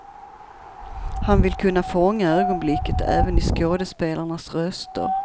Han vill kunna fånga ögonblicket även i skådespelarnas röster.